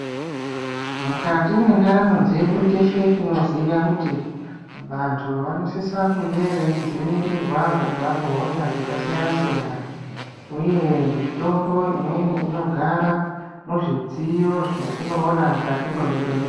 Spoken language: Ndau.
Mukati mwendaramo dzedu teshe tinoziya kuti vantu vanosisa kunge veyidzivirirwa kubva kuhosha dzakasiyana siyana. Huye, mitombo imweni inogara muzvidziyo zvetinowona mukati mezvibhedhlera.